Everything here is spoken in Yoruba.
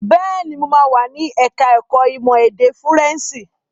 Bẹ́ẹ̀ni, mo máa wà ní ẹ̀ka ẹ̀kó ìmọ̀ èdè Fúrẹ́ǹṣì.